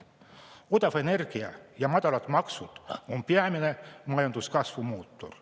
Odav energia ja madalad maksud on peamine majanduskasvu mootor.